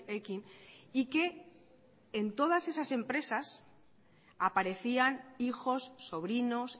ekin y que en todas esas empresas aparecían hijos sobrinos